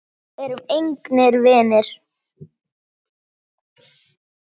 Við erum engir vinir.